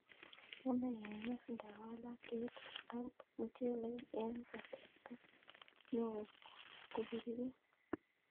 Yamei keges ndawalak ketit ab muchelek eng kasart neo kopiririt